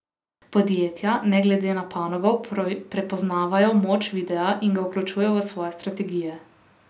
Podjetja, ne glede na panogo, prepoznavajo moč videa in ga vključujejo v svoje strategije.